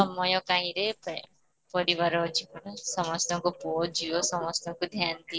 ସମୟ କାଇଁରେ friends ପରିବାର ଅଛିପାର ସମସ୍ତଙ୍କ ପୁଅ ଝିଅ ସମସ୍ତଙ୍କୁ ଧ୍ୟାନ ଦିଅ